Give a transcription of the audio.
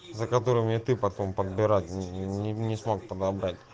за которыми ты потом подбирать не смог подобрать